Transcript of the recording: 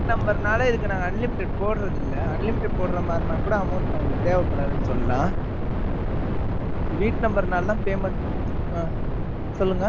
என் வீட்டு number னால, இதுக்கு நாங்க unlimited போடறதில்லை. unlimit போடுற மாதிரின்னா கூட, amount நம்மளுக்கு தேவைப்படாதுன்னு சொல்லலாம். இது வீட்டு number னாலதான், payment அ, அதான் சொல்லுங்க